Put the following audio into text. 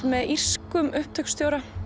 með írskum upptökustjóra